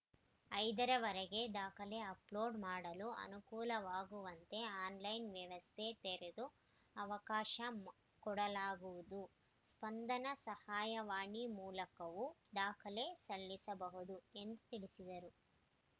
ಐದ ರವರೆಗೆ ದಾಖಲೆ ಅಪ್‌ಲೋಡ್‌ ಮಾಡಲು ಅನುಕೂಲವಾಗುವಂತೆ ಆನ್‌ಲೈನ್‌ ವ್ಯವಸ್ಥೆ ತೆರೆದು ಅವಕಾಶ ಕೊಡಲಾಗುವುದು ಸ್ಪಂದನ ಸಹಾಯವಾಣಿ ಮೂಲಕವು ದಾಖಲೆ ಸಲ್ಲಿಸಬಹುದು ಎಂದು ತಿಳಿಸಿದರು